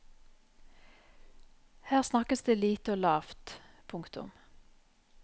Her snakkes det lite og lavt. punktum